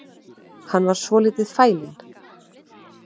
Hann var svolítið fælinn